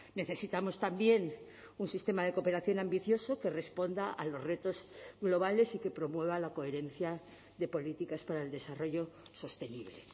necesitamos también un sistema de cooperación ambicioso que responda a los retos globales y que promueva la coherencia de políticas para el desarrollo sostenible